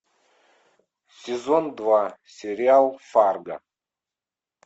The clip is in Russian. сезон два сериал фарго